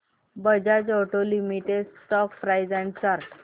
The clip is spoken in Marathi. Bajaj auto limited stock price and chart